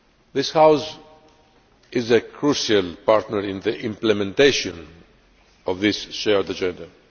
This House is a crucial partner in the implementation of this shared agenda.